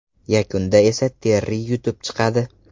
Yakunda esa Terri yutib chiqadi.